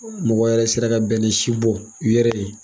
mɔgɔw yɛrɛ sera ka bɛnɛ si bɔ u yɛrɛ ye.